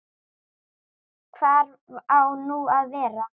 Hvar á nú að vera?